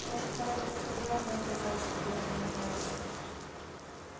может надо как-то явно указать чтобы он не менялся